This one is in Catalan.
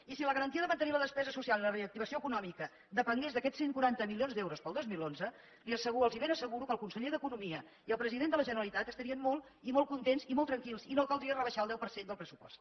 i si la garantia de mantenir la despesa social i la reactivació econòmica depengués d’aquests cent i quaranta milions d’euros per al dos mil onze els ben asseguro que el conseller d’economia i el president de la generalitat estarien molt i molt contents i molt tranquils i no caldria rebaixar el deu per cent del pressupost